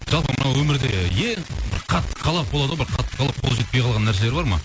жалпы мына өмірде ең бір қатты қалап болады ғой бір бір қатты қалап қол жетпей қалған нәрселер бар ма